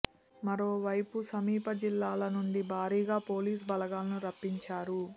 మరో వైపు సమీప జిల్లాల నుండి భారీగా పోలీసు బలగాలను రప్పించారు